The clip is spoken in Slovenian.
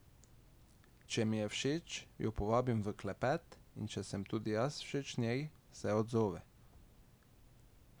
Če mi je všeč, jo povabim v klepet in če sem tudi jaz všeč njej, se odzove.